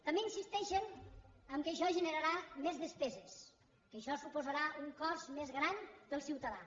també insisteixen que això generarà més despeses que això suposarà un cost més gran per al ciutadà